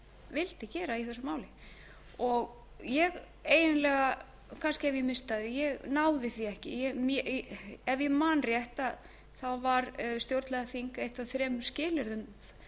vildi gera í þessu máli ég eiginlega kannski hef ég misst af því ég náði því ekki ef ég man rétt var stjórnlagaþing eitt af þremur skilyrðum